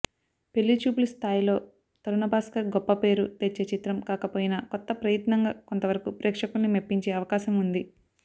పెళ్లిచూపులు స్థాయిలో తరుణ్భాస్కర్ గొప్ప పేరు తెచ్చే చిత్రం కాకపోయినా కొత్త ప్రయత్నంగా కొంతవరకు ప్రేక్షకుల్ని మెప్పించే అవకాశం ఉంది